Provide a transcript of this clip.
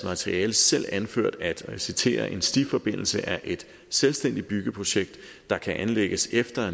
materiale selv anført at og jeg citerer en stiforbindelse er et selvstændigt byggeprojekt der kan anlægges efter at